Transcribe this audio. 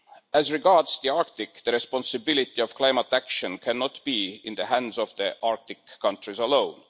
As regards the Arctic, the responsibility of climate action cannot be in the hands of the Arctic countries alone.